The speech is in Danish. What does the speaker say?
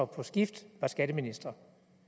på skift var skatteminister